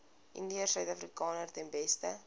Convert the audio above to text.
indiërsuidafrikaners ten beste